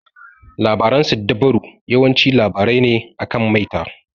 Labaran siddabaru yawanci labarai ne akan maita.